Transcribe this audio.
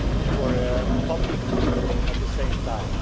for the public good at the same time.